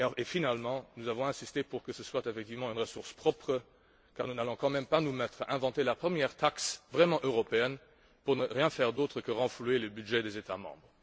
Finalement, nous avons insisté pour que ce soit effectivement une ressource propre, car nous n'allons quand même pas nous mettre à inventer la première taxe vraiment européenne pour ne rien faire d'autre que renflouer les budgets des États membres.